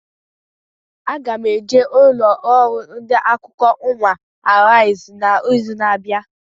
Aga m eje ụlọ ọrụ ndị akụkọ ụwa Arise na izu na abịa